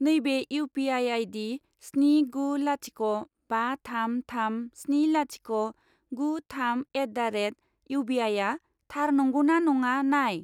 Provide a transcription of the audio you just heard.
नैबे U P I आइदि स्नि गु लाथिख' बा थाम थाम स्नि लाथिख' गु थाम द' एट दा रेट इउबिआइआ थार नंगौ ना नङा नाय।